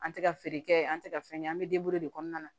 An tɛ ka feere kɛ an tɛ ka fɛn kɛ an bɛ denburu de kɔnɔna na